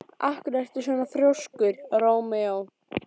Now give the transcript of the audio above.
Af hverju ertu svona þrjóskur, Rómeó?